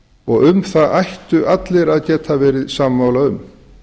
og um það ættu allir að geta verið sammála um